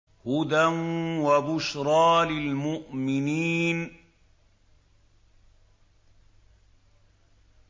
هُدًى وَبُشْرَىٰ لِلْمُؤْمِنِينَ